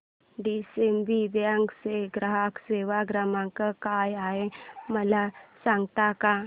DCB bank चा ग्राहक सेवा क्रमांक काय आहे मला सांगता का